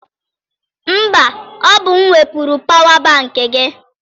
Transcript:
Mba, ọ bụ m wepụrụ pawa bankị gị.